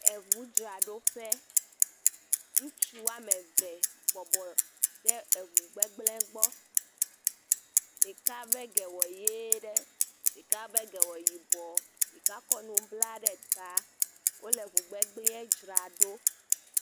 Eŋudzraɖoƒe, ŋutsu woame ev bɔbɔ ɖe eŋu aɖe gbɔ, ɖeka ƒe ge wɔ ʋe ɖe eye ɖeka ƒe ge wɔ yibɔ, ɖeka kɔ nu bla ɖe ta wole eŋugbegblẽe dzra ɖo.